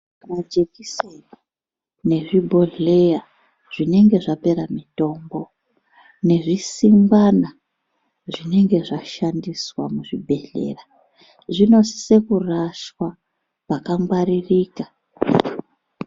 Majekiseni nezvi bhohleya zvinenge zvapera mitombo nezvi simbana zvinenge zva shandiswa mu zvibhedhleya zvino sise kurashwa paka ngwaririka.